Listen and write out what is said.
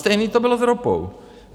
Stejně to bylo s ropou.